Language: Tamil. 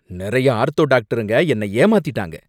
நிறைய ஆர்த்தோ டாக்டருங்க என்ன ஏமாத்திட்டாங்க